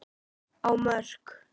á Mörk.